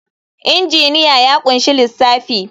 Injiniya ya ƙunshi lissafi.